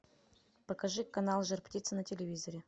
покажи канал жар птица на телевизоре